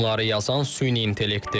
Bunları yazan süni intellektdir.